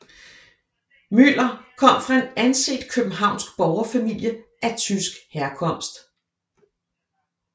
Müller kom fra en anset københavnsk borgerfamilie af tysk herkomst